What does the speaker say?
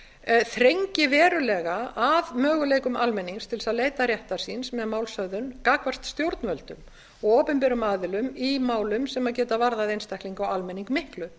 fimm þrengi verulega að möguleikum almennings til þess að leita réttar síns með málshöfðun gagnvart stjórnvöldum og opinberum aðilum í málum sem geta varðað einstaklinga og almenning miklu